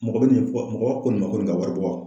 Mɔgɔ bɛ nin fɔ mɔgɔ ko nin ma ko nin ka wari bɔ.